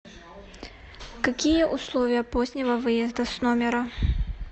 какие условия позднего выезда с номера